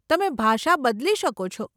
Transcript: તમે ભાષા બદલી શકો છો.